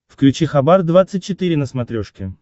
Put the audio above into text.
включи хабар двадцать четыре на смотрешке